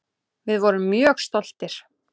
Við vorum mjög stoltir.